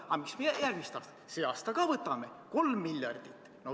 Ja mis järgmisel aastal – sel aastal ka võtame laenu, 3 miljardit!